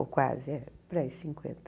Ou quase, é, por aí, cinquenta.